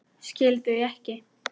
Skil þau ekki.